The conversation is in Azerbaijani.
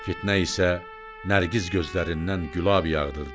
Fitnə isə Nərgiz gözlərindən gülab yağdırdı.